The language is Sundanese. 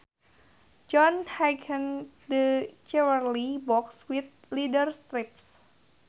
John hinged the jewelry box with leather strips